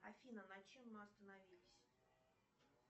афина на чем мы остановились